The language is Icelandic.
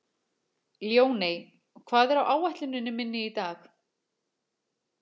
Ljóney, hvað er á áætluninni minni í dag?